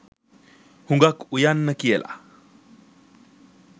හුඟක් උයන්න කියල.